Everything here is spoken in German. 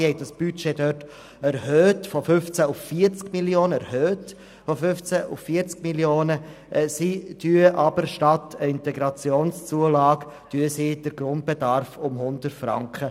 Dort wurde das Budget von 15 auf 40 Mio. Franken erhöht, und statt einer IZU erhöhen sie den Grundbedarf um 100 Franken.